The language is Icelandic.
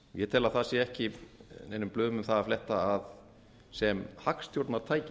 ég tel að það sé ekki neinum blöðum um það að fletta að sem hagstjórnartæki